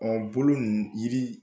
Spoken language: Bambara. Ɔ bolo ninnu yiri